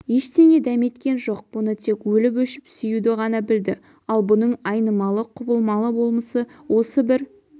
ештеңе дәметкен жоқ бұны тек өліп-өшіп сүюді ғана білді ал бұның айнымалы-құбылмалы болмысы осы бір